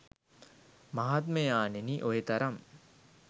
මහත්මයාණෙනි, ඔය තරම්